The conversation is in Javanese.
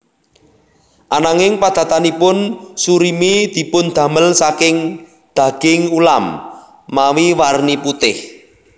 Ananging padatanipun surimi dipundamel saking daging ulam mawi warni putih